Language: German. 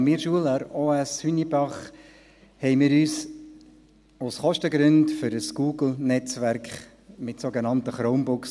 An meiner Schule, der Oberstufenschule (OS) Hünibach, entschieden wir uns aus Kostengründen für ein Google-Netzwerk mit sogenannten Chromebooks.